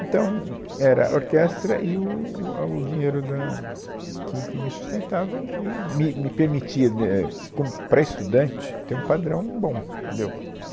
Então, era a orquestra e o a o dinheiro da que que me sustentava e me, me permitia, ne, é, como, para estudante, ter um padrão bom, entendeu?